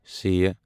ث